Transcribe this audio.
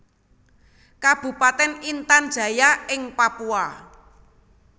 Kabupatèn Intan Jaya ing Papua